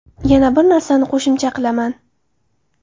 Yana bir narsani qo‘shimcha qilaman.